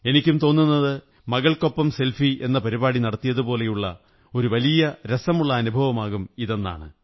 എനിക്കും തോന്നുന്നത് മകള്ക്കൊ പ്പം സെല്ഫിേ എന്ന പരിപാടി നടത്തിയതുപോലെ ഒരു വലിയ രസമുള്ള അനുഭവമാകും ഇതെന്നാണ്